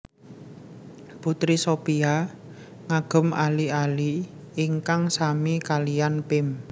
Putri Shopia ngagem ali ali ingkang sami kaliyan Pim